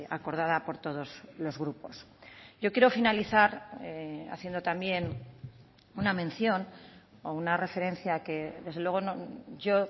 acordada por todos los grupos yo quiero finalizar haciendo también una mención o una referencia que desde luego yo